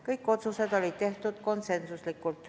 Kõik otsused tehti konsensusega.